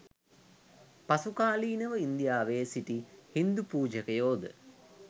පසුකාලීනව ඉන්දියාවේ සිටි හින්දු පූජකයෝද